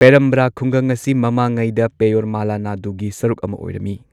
ꯄꯦꯔꯥꯝꯕ꯭ꯔꯥ ꯈꯨꯡꯒꯪ ꯑꯁꯤ ꯃꯃꯥꯡꯉꯩꯗ ꯄꯌꯌꯣꯔꯃꯥꯂꯥ ꯅꯥꯗꯨ ꯒꯤ ꯁꯔꯨꯛ ꯑꯃ ꯑꯣꯏꯔꯝꯃꯤ꯫